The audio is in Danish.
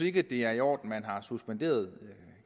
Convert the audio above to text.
ikke det er i orden at man har suspenderet